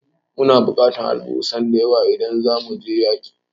Muna bukatar alburusan da yawa idan zamu je yaƙi